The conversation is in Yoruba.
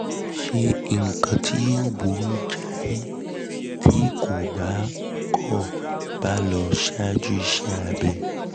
ṣe nǹkan tí yóò burú jáì tí kò bá kò bá lọ ṣáájú iṣẹ́ abẹ?